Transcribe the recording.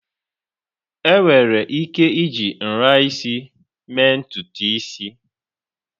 Enwere ike iji nra isi mee ntutu isi.